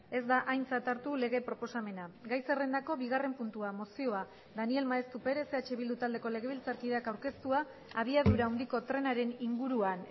ez da aintzat hartu lege proposamena gai zerrendako bigarren puntua mozioa daniel maeztu perez eh bildu taldeko legebiltzarkideak aurkeztua abiadura handiko trenaren inguruan